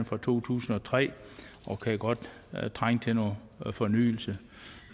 fra to tusind og tre og kan godt trænge til noget fornyelse